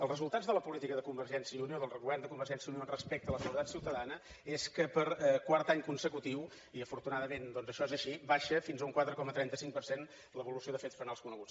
els resultats de la política de convergència i unió del govern de convergència i unió respecte a la seguretat ciutadana són que per quart any consecutiu i afortunadament això és així baixa fins a un quatre coma trenta cinc per cent l’evolució de fets penals coneguts